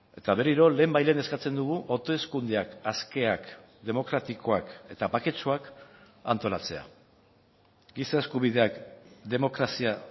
eta berriro lehenbailehen eskatzen dugu hauteskundeak askeak demokratikoak eta baketsuak antolatzea giza eskubideak demokrazia